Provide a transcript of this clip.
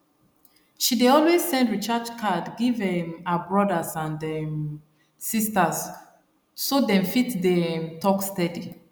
she dey always send recharge card give um her brothers and um sisters so dem fit dey um talk steady